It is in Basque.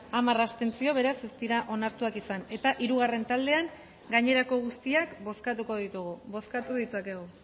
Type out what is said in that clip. hamar abstentzio beraz ez dira onartuak izan eta hirugarren taldean gainerako guztiak bozkatuko ditugu bozkatu ditzakegu